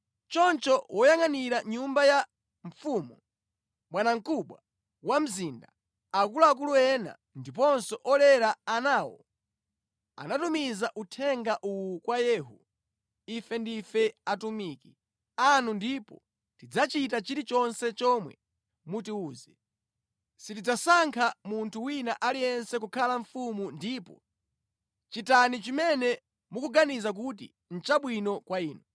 Choncho woyangʼanira nyumba ya mfumu, bwanamkubwa wa mzinda, akuluakulu ena ndiponso olera anawo anatumiza uthenga uwu kwa Yehu: “Ife ndife atumiki anu ndipo tidzachita chilichonse chomwe mutiwuze. Sitidzasankha munthu wina aliyense kukhala mfumu ndipo chitani chimene mukuganiza kuti nʼchabwino kwa inu.”